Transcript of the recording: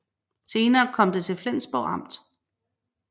Senere kom det til Flensborg Amt